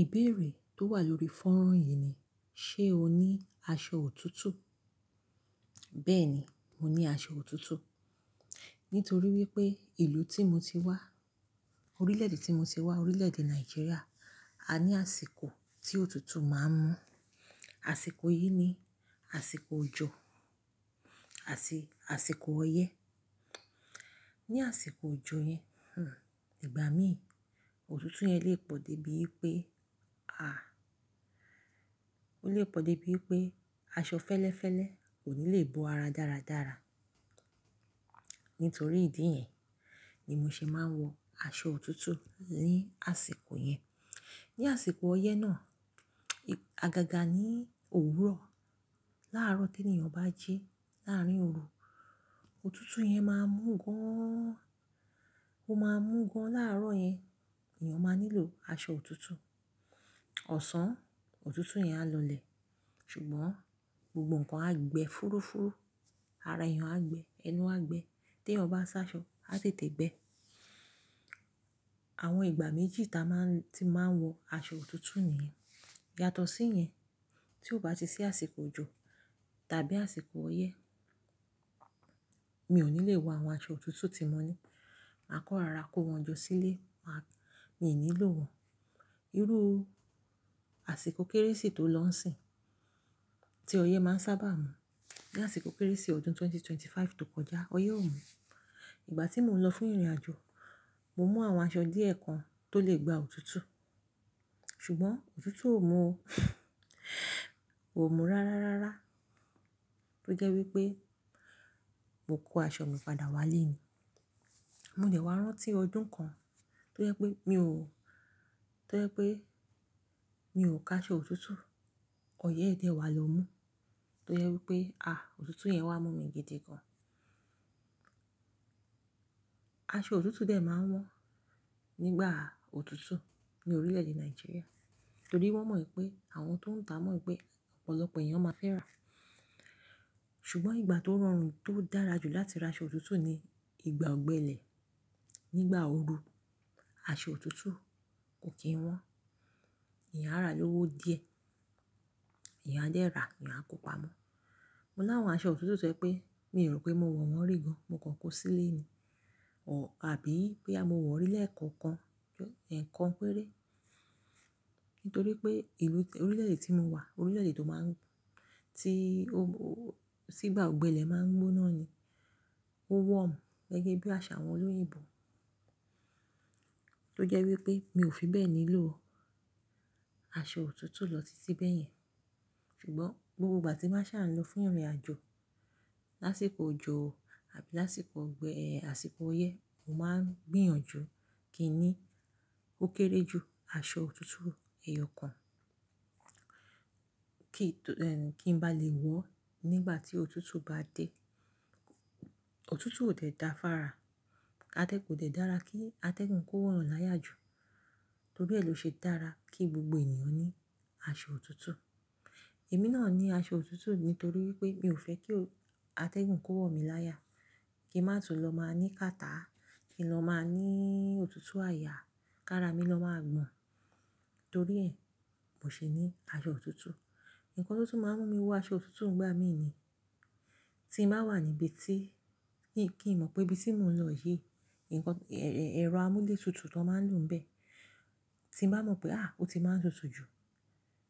Ìbéèrè tó wà lórí fọ́nrán yìí ni, ṣe o ní aṣọ òtútù? Bẹ́ẹ̀ni, mo ní aṣọ òtútù. Nítorí wípé ìlú tí mo ti wá, orílè-èdè tí mo ti wá, orílè-èdè Nàìjíríà, a ní àsìkò tí òtútù máa ń mú. Àsìkò yìí ni àsìkò òjò àti àsìkò ọyẹ́. Ní àsìkò òjò yẹn, hmm ìgbà mií òtútù yẹn lè pọ̀ dé bí wipé, àá o lè pọ̀ dé bí wipé aṣọ fẹ́lẹ́fẹ́lẹ́ kò ní lè bo ara dáradára. Nítorí ìdí iyẹn ni mo ṣe máa ń wọ aṣọ òtútù ní àsìkò yẹn. Ní àsìkò ọyẹ́ náà, àgàgà ní òwúrọ̀ láàárọ̀ tí ènìyàn bá jí láàárín oru, òtútù yẹn máa mú gan an, ó máa mú gan láàárọ̀ yẹn. Eeyàn máa nílò aṣọ òtútù. Ọ̀sán, òtútù yẹn á lọlẹ̀. Ṣùgbọ́n gbogbo ǹkan á gbe fúrúfúrú. Ara eeyàn á gbe, ẹnu á gbe. Tí eeyàn bá sá aṣọ, á tètè gbẹ. Àwọn ìgbà méjì ti a máa tí n máa ń wọ aṣọ òtútù nìyẹn. Yàtọ̀ sí yẹn, tí ó bá ti sí àsìkò òjò tàbí àsìkò ọyẹ́, mi ò ní lè wọ àwọn aṣọ òtútù tí mo ní. Mà á kan rora kó wọn jó sílé, mà á-- mi i nílò wọn. Irú àsìkò Kérésì ti ó lọ ń sìn, tí ọyẹ́ máa ń sábà mú. Ní àsìkò Kérésì ọdún 2025 tó kọjá, ọyẹ́ ò mú. Ìgbà tí mo lọ fún ìrìnàjò, mo mú àwọn aṣọ díẹ̀ kan tó lè gba òtútù. Ṣùgbọ́n òtútù ò mú o. Ò mú rárárárá. Tó jẹ́ wípé mo kó aṣọ mi padà wá ilé nií. Mo dẹ̀ wá rántí ọdún kan tó jẹ́ pé mi ò, ti ó jẹ́ pé mi ò ka aṣọ òtútù, ọyẹ́ dẹ̀ wá lọ mú. Ti o je wipe, aa, otutu yen wa mu mi gidii gan. Aṣọ òtútù dẹ̀ máa ń wọ́n ní igbà òtútù ní orílè-èdè Nàìjíríà. Nítorí wọ́n mọ wipé, àwọn ti ó ń ta mọ wìpé, ọ̀pọ̀lọpọ̀ èeyàn maa fẹ́ rà. Ṣùgbọ́n ìgbà ti ó rọrùn, ti ó dára jù láti ra aṣọ òtútù ni ìgbà ọ̀gbẹlẹ̀. Ni ígbà ooru aṣọ òtútù kò kí ń wọ́n. Èeyàn á rà lówo díẹ̀, èeyàn á dẹ̀ rà, èeyàn á kó pamọ́. Mo láwọn aṣọ òtútù tio jẹ́ pé, mi ò rò pé mo wọ̀ wọ́n rí gan, mo kàn kó sí ile ni. Abí boya mo wọ̀ ri lẹkookan, ẹ̀kan péré. Nítorí pé ìlú orílè-èdè tí mo wà, orílè-èdè ti ó máa ń, tí ó-ó-- sígbà ọ̀gbẹlẹ̀ máa ń gbóná ni. Ó warm gẹ́gẹ́ bí àṣà àwọn olóyinbo ti ó jẹ́ wípé mi ò fi bẹ́ẹ̀ nílò aṣọ òtútù lọ titi beyẹn. Ṣùgbọ́n gbogbo ìgbà tí n ba sà ń lọ fún ìrìnàjò, lásìkò òjò àbí lásìkò ọ̀gbẹ-- eeh àsìkò ọyẹ́, mo máa ń gbìyànjú kí n ní ó kéré jù aṣọ òtútù èèyọ̀ kan. Kí tó, kí n bá lè wọ̀ ọ́ nígbà tí òtútù bá dé. Òtútù ò dẹ̀ da fun ára. Atẹ́ kò dẹ̀ dára kí atẹ́gùn kó wọ̀ eeyan láyà jù. Torí ẹ ni ó ṣe dára kí gbogbo ènìyàn ní aṣọ òtútù. Èmi náà ní aṣọ òtútù nítorí wípé mi ò fẹ́ kí o-- atẹ́gùn kó wọ̀ mí láyà. Kí mà tún lọ máa ní kàtá. Kí n lọ máa ní òtútù àyà. Kára mi lọ máa gbọ̀n. Torí ẹ, mo ṣe ní aṣọ òtútù. Ǹkan ti o tun máa ń mú mi wọ aṣọ òtútù nigbà mií ni. Tí mà wà níbi tí, kí n mọ̀ pé ibi tí mò ń lọ yìí, ǹkan-- ẹ̀rọ amúlétutù ti won máa ń lò ń bẹ́. Tí n bà mọ̀ pé, à á! Ó ti máa ń tutù jù.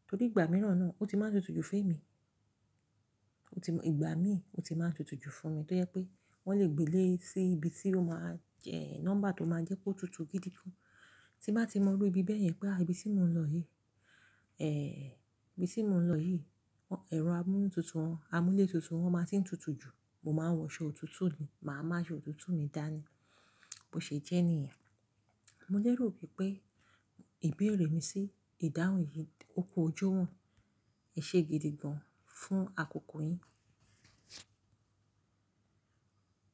Torí ìgbà mìíràn náà ó ti máa ń tutù jù fún èmi. Ó ti mo-- ìgbà mí ó ti máa ń tutù jù fún mi. Tó jẹ́ pé wọ́n lè gbe lé sí ibi tí ó máa jẹ́ nọ́mbà ti ó máa jẹ́ kó tutù gidi gan. Tí n bà tí mọ irú ibi bẹ́yẹn pé, à á! Ibi tí mò ń lọ yìí, ibi tí mò ń lọ yìí, ẹ̀rọ amúletutù wọn, amúlétutù wọn máa ti ń tutù jù, mo máa ń wọ aṣọ òtútù ni. Mà á mu aṣọ òtútù mi dání. Bo ṣe jẹ́ níyen. Mo ni erò wípé ìbéèrè mi sí ìdáhùn yìí ó fi ojú han. Ẹ ṣe gidi gan fún àkókò yín.